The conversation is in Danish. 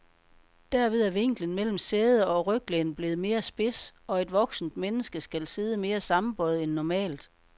Derved er vinklen mellem sæde og ryglæn blevet mere spids, og et voksent menneske skal sidde mere sammenbøjet end normalt.